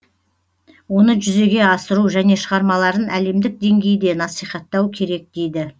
оны жүзеге асыру және шығармаларын әлемдік деңгейде насихаттау керек дейді